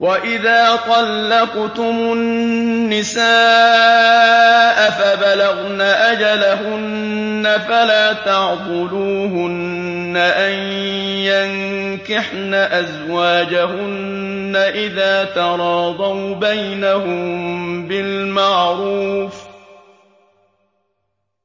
وَإِذَا طَلَّقْتُمُ النِّسَاءَ فَبَلَغْنَ أَجَلَهُنَّ فَلَا تَعْضُلُوهُنَّ أَن يَنكِحْنَ أَزْوَاجَهُنَّ إِذَا تَرَاضَوْا بَيْنَهُم بِالْمَعْرُوفِ ۗ